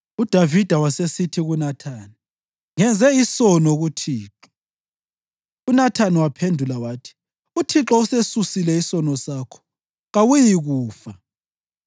UDavida wasesithi kuNathani, “Ngenze isono kuThixo.” UNathani waphendula wathi, “ UThixo usesusile isono sakho. Kawuyikufa.